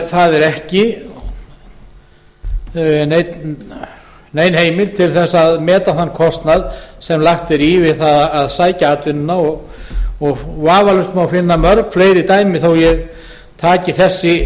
það er ekki nein heimild til þess að meta þann kostnað sem lagt er í við það að sækja atvinnuna vafalaust má finna mörg fleiri dæmi þótt ég taki þessi